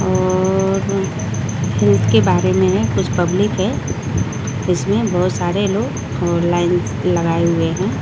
और यूथ के बारे में है कुछ पब्लिक है इसमें बहुत सारे लोग और लाइन लगाए हुए हैं।